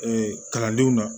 kalandenw na